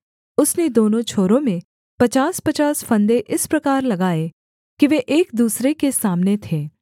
उसने दोनों छोरों में पचासपचास फंदे इस प्रकार लगाए कि वे एक दूसरे के सामने थे